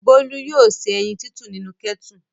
Bólú yóò se ẹyin nínú kẹ́tù.